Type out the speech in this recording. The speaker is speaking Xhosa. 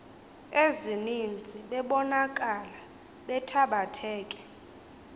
ezininzi bebonakala bethabatheke